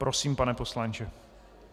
Prosím, pane poslanče.